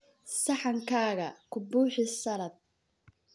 Saxankaaga ku buuxi saladh.